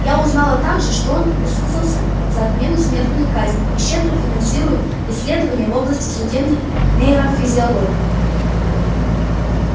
я узнала также что он высказался за отмену смертной казни и щедро финансирует исследования в области судебной нейрофизиологии